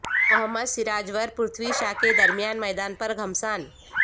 محمد سراج ور پرتھوی شا کے درمیان میدان پر گھمسان